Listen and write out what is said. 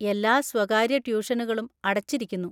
എല്ലാ സ്വകാര്യ ട്യൂഷനുകളും അടച്ചിരിക്കുന്നു.